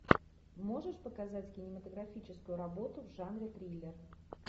можешь показать кинематографическую работу в жанре триллер